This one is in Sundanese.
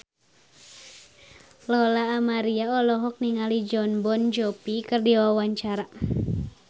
Lola Amaria olohok ningali Jon Bon Jovi keur diwawancara